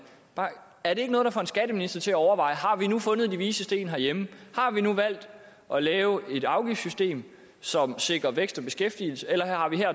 er det ikke noget der får en skatteminister til at overveje har vi nu fundet de vises sten herhjemme har vi nu valgt at lave et afgiftssystem som sikrer vækst og beskæftigelse eller